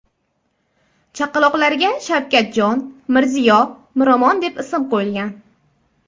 Chaqaloqlarga Shavkatjon, Mirziyo, Miromon deb ism qo‘yilgan.